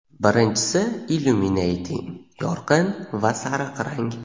Birinchisi Illuminating - yorqin va sariq rang.